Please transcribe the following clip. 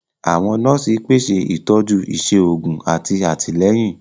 Àwọn nọọsi pèsè itọju iṣé òògùn àti àtìlẹ́yìn.